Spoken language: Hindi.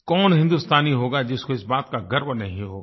कौन हिंदुस्तानी होगा जिसको इस बात का गर्व नहीं होगा